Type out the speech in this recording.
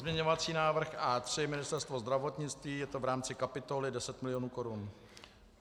Pozměňovací návrh A3 - Ministerstvo zdravotnictví, je to v rámci kapitoly, 10 milionů korun.